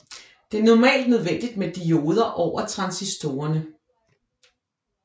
Det er normalt nødvendigt med dioder over transistorerne